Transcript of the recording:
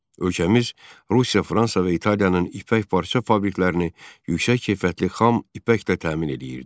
Ölkəmiz Rusiya, Fransa və İtaliyanın ipək parça fabriklərini yüksək keyfiyyətli xam ipəklə təmin eləyirdi.